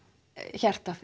hjarta